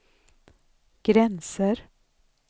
gränser